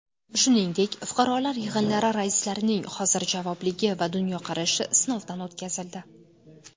Shuningdek, fuqarolar yig‘inlari raislarining hozirjavobligi va dunyoqarashi sinovdan o‘tkazildi.